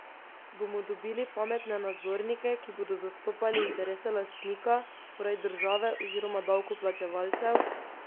Bomo dobili pametne nadzornike, ki bodo zastopali interese lastnika, torej države oziroma davkoplačevalcev?